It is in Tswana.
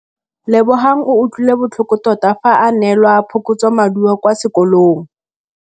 Lebogang o utlwile botlhoko tota fa a neelwa phokotsômaduô kwa sekolong.